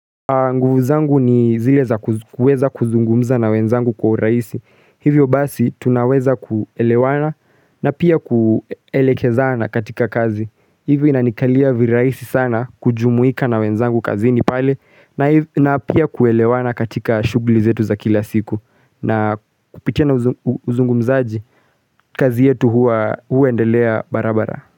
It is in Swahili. Nguvu zangu ni zile za kuweza kuzungumza na wenzangu kwa urahisi Hivyo basi tunaweza kuelewana na pia kuelekezana katika kazi Hivyo inanikalia virahisi sana kujumuika na wenzangu kazi ni pale na pia kuelewana katika shughuli zetu za kila siku na kupitia na uzungumzaji kazi yetu huendelea barabara.